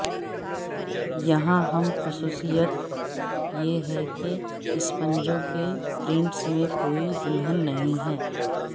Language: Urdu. یہاں اہم خصوصیت یہ ہے کہ اسپنجوں کے پرنٹس میں کوئی دلہن نہیں ہے